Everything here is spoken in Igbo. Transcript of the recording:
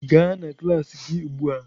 Gaa na klas gị ugbu a!